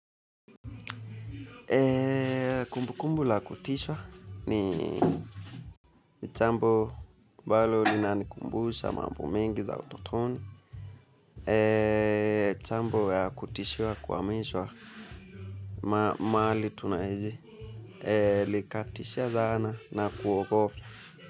Kumbukumbu la kutisha ni jambo ambalo linanikumbusha mambo mengi ya utotoni jambo ya kutishiwa kuhamishwa mahali tunaishi ilikatisha dhaana na kuogopa.